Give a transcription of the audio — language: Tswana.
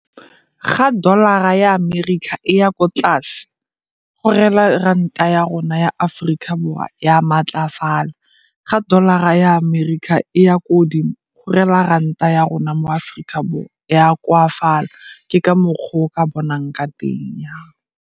Ga dollar-ra ya America e ya ko tlase go reela ranta ya rona ya Aforika Borwa ya maatlafala. Ga dollar-ra ya America e ya ko godimo go reela ranta ya rona mo Aforika Borwa e ya koafala ke ka mokgwa o o ka bonang ka teng.